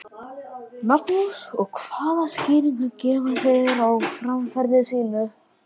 Magnús: Og hvaða skýringu gefa þeir á framferði sínu?